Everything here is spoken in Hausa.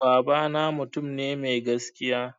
Baba na mutum ne mai gaskiya